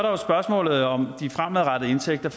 jo spørgsmålet om de fremadrettede indtægter